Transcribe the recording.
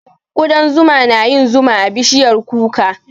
Ƙudan zuma na yin zuma a bishiyar kuka.